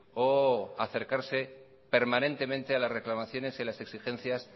o acercarse permanentemente a las reclamaciones y las exigencias